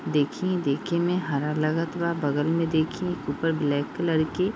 देखिए देखे में हरा लगत बा बगल में देखिए एक ऊपर ब्लैक कलर के --